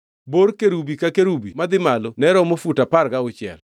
Bor kerubi ka kerubi madhi malo ne romo fut apar gauchiel.